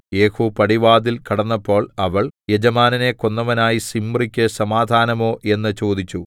യേഹൂ പടിവാതിൽ കടന്നപ്പോൾ അവൾ യജമാനനെ കൊന്നവനായ സിമ്രിക്ക് സമാധാനമോ എന്ന് ചോദിച്ചു